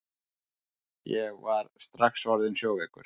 Ég var strax orðinn sjóveikur!